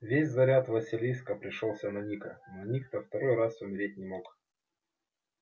весь заряд василиска пришёлся на ника но ник то второй раз умереть не мог